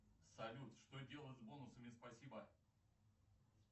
салют что делать с бонусами спасибо